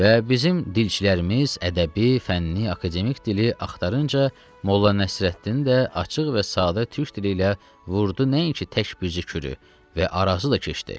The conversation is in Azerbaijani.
Və bizim dilçilərimiz ədəbi, fənni, akademik dili axtarınca, Molla Nəsrəddin də açıq və sadə türk dili ilə vurdu nəinki tək büzükürü və Arazı da keçdi.